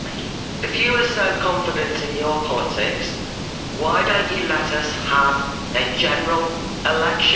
If you are so confident in your politics, why don't you let us have a general election?